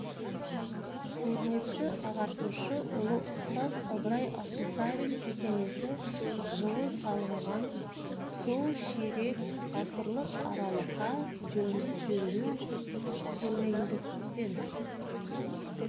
көрнекті ағартушы ұлы ұстаз ыбырай алтынсарин кесенесі жылы салынған сол ширек ғасырлық аралықа жөнді жөндеу көрмегендіктен